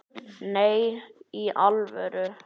Nei, í alvöru